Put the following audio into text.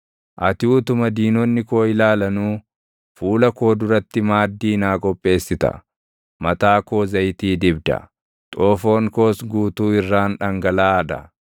Ati utuma diinonni koo ilaalanuu fuula koo duratti maaddii naa qopheessita. Mataa koo zayitii dibda; xoofoon koos guutuu irraan dhangalaʼaa dha.